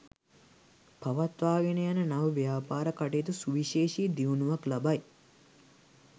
පවත්වාගෙන යන නව ව්‍යාපාර කටයුතු සුවිශේෂී දියුණුවක් ලබයි.